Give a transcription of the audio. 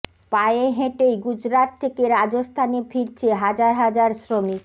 পায়ে হেঁটেই গুজরাট থেকে রাজস্থানে ফিরছে হাজার হাজার শ্রমিক